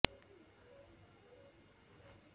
শেহতীয়া এটা গবেষণাত প্ৰকাশ পাইছে যে বাগিচাৰ বাবে যোগাৰ কৰা ফুল